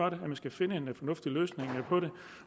at man skal finde en fornuftig løsning på det